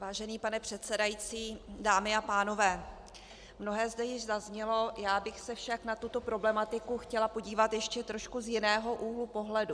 Vážený pane předsedající, dámy a pánové, mnohé zde již zaznělo, já bych se však na tuto problematiku chtěla podívat ještě trošku z jiného úhlu pohledu.